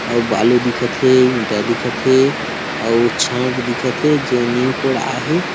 आऊ बालू दिखत हे ईटा दिखत हे आवो छड़ दिखत हे जेनी कोड आहे।